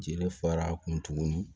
Jeli fara a kun tugun